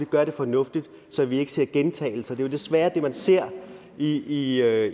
gøre det fornuftig så vi ikke ser gentagelser det er desværre det man ser i i